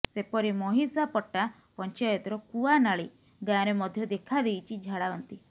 ସେପରି ମହିଷାପଟା ପଂଚାୟତର କୁଆନାଳି ଗାଁରେ ମଧ୍ୟ ଦେଖାଦେଇଛି ଝାଡାବାନ୍ତି